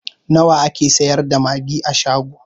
Nawa ake sayar da magi a shago?